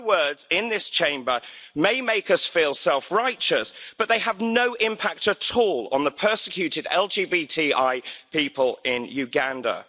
Hollow words in this Chamber may make us feel self-righteous, but they have no impact at all on the persecuted LGBTI people in Uganda.